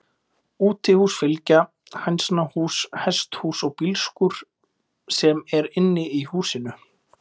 Útihús fylgja, hænsnahús, hesthús og bílskúr, sem er inni í húsinu.